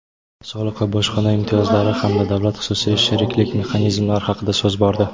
soliq va bojxona imtiyozlari hamda davlat-xususiy sheriklik mexanizmlari haqida so‘z bordi.